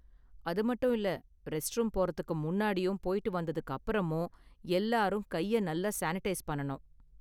அது மட்டும் இல்ல, ரெஸ்ட்ரூம் போறதுக்கு முன்னாடியும் போய்ட்டு வந்ததுக்கு அப்புறமும் எல்லாரும் கையை நல்லா சானிடைஸ் பண்ணனும்.